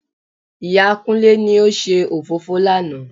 Ìyá Kúnlé ni ó ṣe òfófó lánà